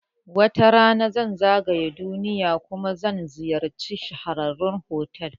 Wata rana zan zagaya duniya kuma zan ziyarci shahararrun fotel